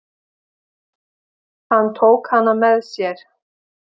Hann tók hana með sér.